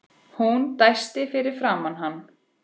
Hún dæsti fyrir framan hann.